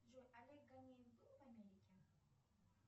джой олег ганеев был в америке